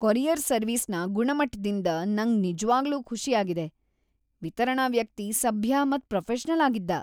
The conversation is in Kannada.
ಕೊರಿಯರ್ ಸರ್ವಿಸ್ನ ಗುಣಮಟ್ಟದಿಂದ್ ನಂಗ್ ನಿಜ್ವಾಗ್ಲೂ ಖುಷಿ ಆಗಿದೆ. ವಿತರಣಾ ವ್ಯಕ್ತಿ ಸಭ್ಯ ಮತ್ ಪ್ರೊಫೆಷನಲ್‌ ಆಗಿದ್ದ.